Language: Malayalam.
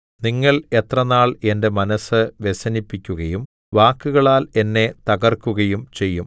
നിങ്ങൾ എത്ര നാൾ എന്റെ മനസ്സ് വ്യസനിപ്പിക്കുകയും വാക്കുകളാൽ എന്നെ തകർക്കുകയും ചെയ്യും